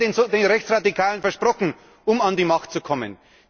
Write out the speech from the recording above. Was hat man denn den Rechtsradikalen versprochen, um an die Macht zu kommen?